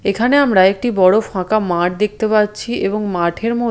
এখানে আমরা একটি বড়ো ফাঁকা মাঠ দেখতে পাচ্ছি এবং মাঠের ম--